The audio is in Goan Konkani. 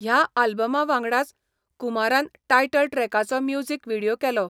ह्या आल्बमावांगडाच, कुमारान टायटल ट्रॅकाचो म्युझिक व्हिडियो केलो.